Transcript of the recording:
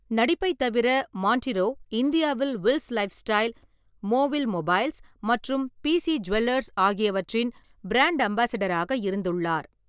நடிப்பைத் தவிர, மான்டிரோ இந்தியாவில் Wills lifestyle, மோவில் மொபைல்ஸ் மற்றும் பிசி ஜுவல்லர்ஸ் ஆகியவற்றின் பிராண்ட் அம்பாசிடராக இருந்துள்ளார்.